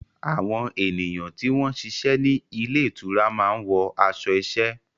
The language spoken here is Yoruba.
Àwọn ènìyàn tí wọ́n ń ṣiṣẹ́ ní ilé ìtura máa ń wọ aṣọ iṣẹ́.